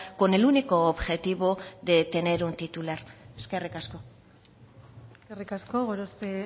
con el único objetivo de tener un titular eskerrik asko eskerrik asko gorospe